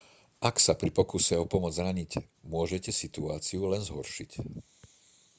ak sa pri pokuse o pomoc zraníte môžete situáciu len zhoršiť